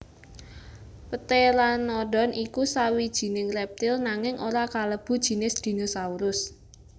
Pteranodon iku sawijining reptil nanging ora kalebu jinis dinosaurus